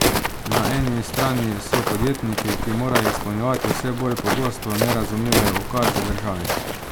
Na eni strani so podjetniki, ki morajo izpolnjevati vse bolj pogosto nerazumljive ukaze državi.